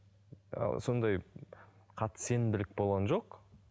ы сондай қатты сенімділік болған жоқ